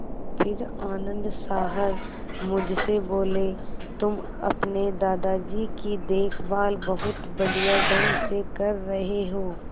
फिर आनन्द साहब मुझसे बोले तुम अपने दादाजी की देखभाल बहुत बढ़िया ढंग से कर रहे हो